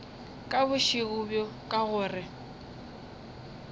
ka bošego bjo ka gore